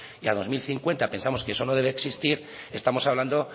y a dos mil cincuenta pensamos que eso no debe de existir estamos hablando